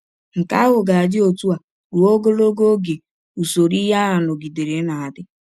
Nke ahụ ga - adị ọtụ a rụọ ọgọlọgọ ọge usọrọ ihe a nọgidere na - adị.